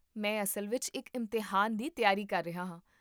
ਮੈਂ ਅਸਲ ਵਿੱਚ ਇੱਕ ਇਮਤਿਹਾਨ ਦੀ ਤਿਆਰੀ ਕਰ ਰਿਹਾ ਹਾਂ